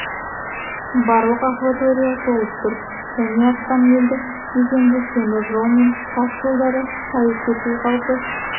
барлық акватория толып тұр және астам елді мекенді теміржол мен тас жолдарды шайып кету қаупі